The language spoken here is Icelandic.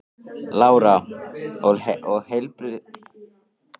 Lára: Og heilbrigðisráðherra hefur tekið ágætlega í þessar hugmyndir ykkar?